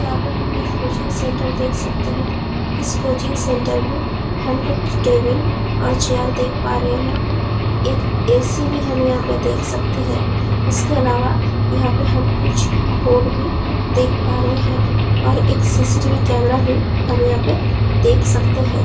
यहाँ पे हम एक कोचिंग सेंटर देख सकते है इस कोचिंग सेंटर में हम कुछ टेबिल और कुछ चेयर देख पा रहे है एक ए.सी. भी हम यहाँ पे देख सकते है इसके आलावा यहाँ पे हम कुछ बोर्ड भी देख पा रहे है और एक सी.सी.टी.वी. कैमरा भी हम यहाँ पे देख सकते है ।